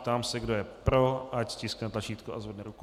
Ptám se, kdo je pro, ať stiskne tlačítko a zvedne ruku.